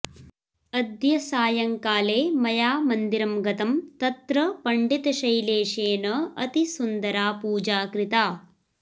अद्य सायंकाले मया मन्दिरं गतं तत्र पण्डितशैलेशेन अतिसुन्दरा पूजा कृता